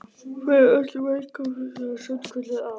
Verið öll velkomin, það er sannkölluð á.